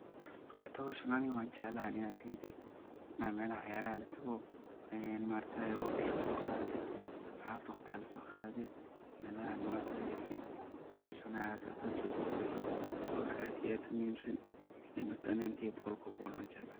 Horta aniga ahanteyda waan jeclahay waqtiga soqadate oo asxabtada lasoqadate. Marki ani ahanteyda wan jeclahay oo zaid ayan u jeclahay waa vacation adoo oo so xawo badalato markaa ani ahanteyda boqolkiba boqol wan jeclahay.